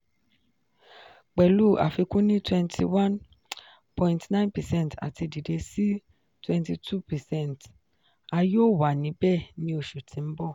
pẹlu afikun ni twenty one point nine percent ati dide si twenty two percent - a yoo wa nibẹ ni oṣu ti n bọ-